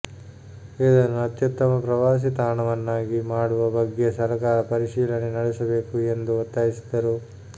ಇದನ್ನು ಅತ್ಯುತ್ತಮ ಪ್ರವಾಸಿ ತಾಣವನ್ನಾಗಿ ಮಾಡುವ ಬಗ್ಗೆ ಸರಕಾರ ಪರಿಶೀಲನೆ ನಡೆಸಬೇಕು ಎಂದು ಒತ್ತಾಯಿಸಿದರು